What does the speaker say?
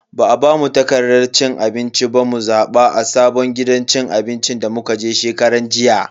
Ba a bamu takardan abinci ba mu zaba a sabon gidan cin abinci da muka je shekaran jiya.